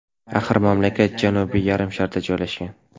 Axir mamlakat Janubiy yarim sharda joylashgan.